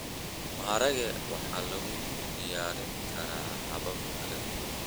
Maharage waxaa lagu diyaarin karaa habab kala duwan.